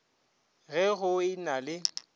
ge go e na le